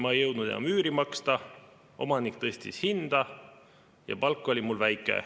"Ma ei jõudnud enam üüri maksta, omanik muudkui tõstis hinda ja palk oli nii väike.